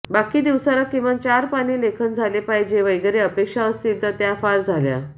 बाकी दिवसाला किमान चार पाने लेखन झाले पाहिजे वगैरे अपेक्षा असतील तर त्या फार झाल्या